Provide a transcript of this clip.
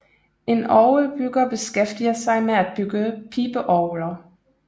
En orgelbygger beskæftiger sig med at bygge pibeorgler